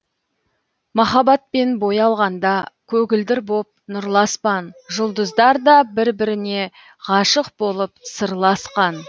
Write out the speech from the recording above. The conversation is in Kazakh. махаббатпен боялғанда көгілдір боп нұрлы аспан жұлдыздар да бір біріне ғашық болып сырласқан